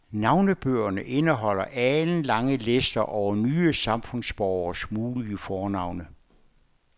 Navnebøgerne indeholder alenlange lister over nye samfundsborgeres mulige fornavne.